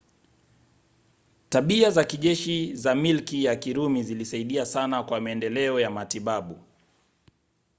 tabia za kijeshi za milki ya kirumi zilisaidia sana kwa maendeleo ya matibabu